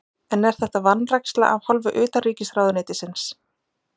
En er þetta vanræksla af hálfu utanríkisráðuneytisins?